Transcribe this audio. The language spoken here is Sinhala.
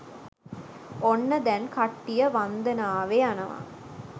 ඔන්න දැන් කට්ටිය වන්දනාවෙ යනව